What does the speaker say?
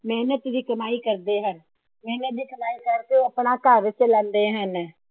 ਮੇਹਨਤ ਦੀ ਕਮਾਈ ਕਰਦੇ ਹਨ। ਮੇਹਨਤ ਦੀ ਕਮਾਈ ਕਰਕੇ ਆਪਣਾ ਘਰ ਚਲਾਉਂਦੇ ਹਨ।